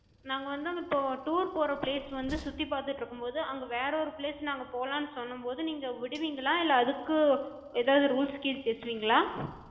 நாங்க வந்து இப்போ tour போற place வந்து சுத்தி பாத்துட்டு இருக்கும்போது, அங்க வேற ஒரு place நாங்க போலானு சொல்லும்போது நீங்க விடுவிங்களா? இல்ல அதுக்கு எதாது rules கீல்ஸ் பேசுவிங்களா?